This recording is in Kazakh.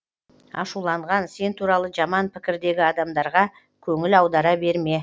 ашуланған сен туралы жаман пікірдегі адамдарға көңіл аудара берме